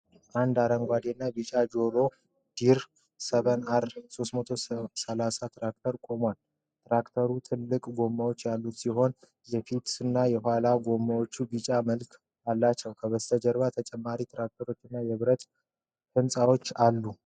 አንድ አረንጓዴና ቢጫ ጆን ዲር 7R 330 ትራክተር ቆሟል። ትራክተሩ ትልቅ ጎማዎች ያሉት ሲሆን የፊትና የኋላ ጎማዎች የቢጫ መሃል አላቸው። ከበስተጀርባ ተጨማሪ ትራክተሮች እና የብረት ሕንፃዎች አሉ።